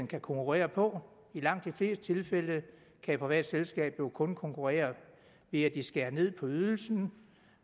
kan konkurrere på i langt de fleste tilfælde kan et privat selskab jo kun konkurrere ved at de skærer ned på ydelsen